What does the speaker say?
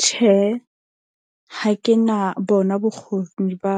Tjhe, ha ke na bona bokgoni ba